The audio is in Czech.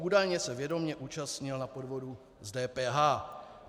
Údajně se vědomě účastnil na podvodu s DPH.